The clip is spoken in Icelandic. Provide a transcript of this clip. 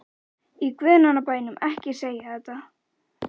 Í guðanna bænum ekki segja þetta.